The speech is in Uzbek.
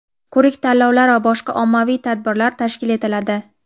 ko‘rik-tanlovlar va boshqa ommaviy tadbirlar tashkil etiladi.